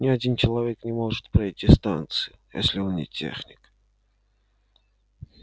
ни один человек не может пройти станцию если он не техник